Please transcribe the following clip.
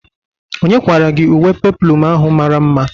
Onye kwara gị uwe peplum ahụ mara mma?